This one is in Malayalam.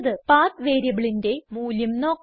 പത്ത് വേരിയബിളിന്റെ മൂല്യം നോക്കാം